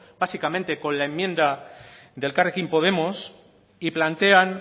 básicamente con la enmienda del elkarrekin podemos y plantean